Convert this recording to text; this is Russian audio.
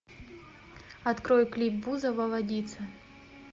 открой клип бузова водица